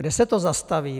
Kde se to zastaví?